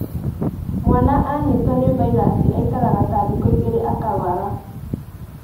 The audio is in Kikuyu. Mwana anyitwo nĩ vairaci aikaraga ta thikũ igĩrĩ akarwara.